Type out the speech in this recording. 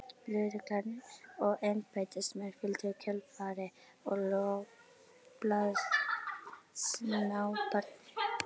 Lögreglan og embættismenn fylgdu í kjölfarið og loks blaðasnáparnir.